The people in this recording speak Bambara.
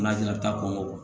N'a jiginna ta kɔ